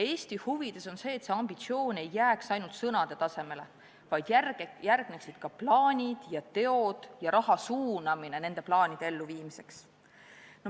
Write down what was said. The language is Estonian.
Eesti huvides on see, et see ambitsioon ei jääks ainult sõnade tasemele, vaid järgneksid ka plaanid ja teod ning raha eraldamine nende plaanide elluviimiseks.